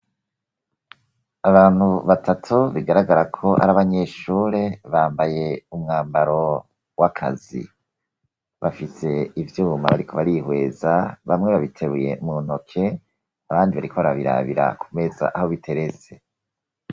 abantu batatu bigaragara ko ari abanyeshure bambaye umwambaro w'akazi bafise ivyuma bariko barihweza bamwe babiteruye mu ntoke abandi barikora barabirabira kumeza aho biteretse